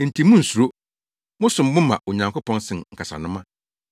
Enti munnsuro! Mosom bo ma Onyankopɔn sen nkasanoma.